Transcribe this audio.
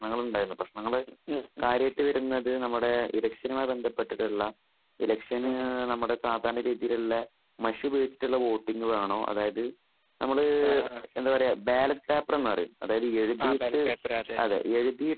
പ്രശ്നങ്ങൾ ഉണ്ടായിരുന്നു പ്രശ്നങ്ങൾ കാര്യമായിട്ട് വരുന്നത് ഇലക്കഷനുമായിട്ട് ബന്ധപ്പെട്ടിട്ടുള്ള.ഇലക്ഷന് നമ്മുടെ സാധാരണയുള്ള. രീതിയിലുള്ള.മഷി ഉപയോഗിച്ചുള്ള വോട്ടിങ് വേണോ അതായിത് നമ്മൾ എന്താ പറയൂ ബാലേറ്റ് പേപ്പർ എന്നു പറയും എഴുതിയിട്ട്